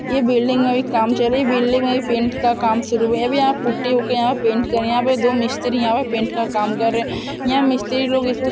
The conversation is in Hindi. यह एक बिल्डिंग है और काम चल रही है यहां दो मिस्ट्रीय पेंट का काम कर रहे है